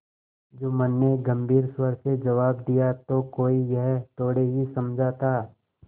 जुम्मन ने गम्भीर स्वर से जवाब दियातो कोई यह थोड़े ही समझा था